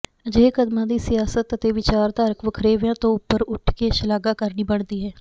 ਅਜਿਹੇ ਕਦਮਾਂ ਦੀ ਸਿਆਸਤ ਅਤੇ ਵਿਚਾਰਧਾਰਕ ਵਖਰੇਵਿਆਂ ਤੋਂ ਉੱਪਰ ਉੱਠ ਕੇ ਸ਼ਲਾਘਾ ਕਰਨੀ ਬਣਦੀ ਹੈ